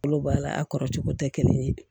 Kolo b'a la a kɔrɔ cogo tɛ kelen ye